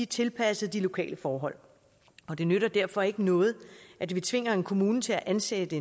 tilpasset de lokale forhold og det nytter derfor ikke noget at vi tvinger en kommune til at ansætte